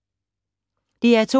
DR2